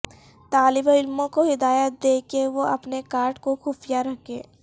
طالب علموں کو ہدایات دیں کہ وہ اپنے کارڈ کو خفیہ رکھیں